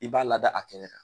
I b'a lada a kɛnɛ kan.